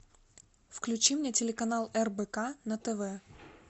включи мне телеканал рбк на тв